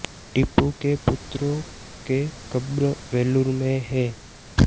टीपू के पुत्रों के कब्र वेल्लूर में हैं